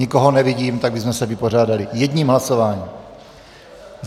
Nikoho nevidím, tak bychom se vypořádali jedním hlasováním.